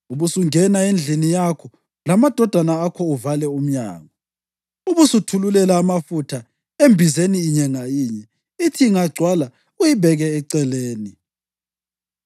Ubusungena endlini yakho lamadodana akho uvale umnyango. Ubusuthululela amafutha embizeni inye nganye, ithi ingagcwala uyibeke eceleni.”